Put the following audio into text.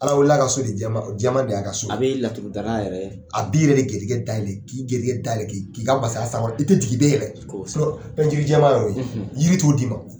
Ala weele la ka so de jɛman jɛman de ye a ka so a be laturudara yɛrɛ a b'i yɛrɛ de gɛrijigɛ dayɛlɛ k'i gɛrijigɛ dayɛlɛ k'i k'i ka masaya sankɔrɔ i tɛ tigi i tɛ yɛlɛ ko so pɛntiri jɛman y'o ye jiri t'o d'i ma